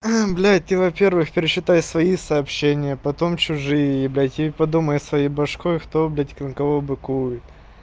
а блять ты во-первых перечитай свои сообщения потом чужие блять и подумай своей башкой кто блять на какого быкует